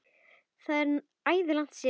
Það er æði langt síðan.